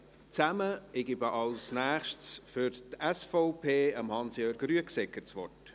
Ich gebe als Nächstes für die SVP Hans Jörg Rüegsegger das Wort.